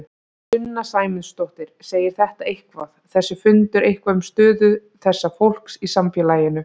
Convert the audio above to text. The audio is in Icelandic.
Sunna Sæmundsdóttir: Segir þetta eitthvað, þessi fundur eitthvað um stöðu þessa fólks í samfélaginu?